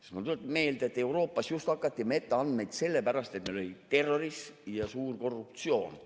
Mulle tuleb meelde, et Euroopas hakati metaandmeid just sellepärast, et meil oli terrorism ja suur korruptsioon.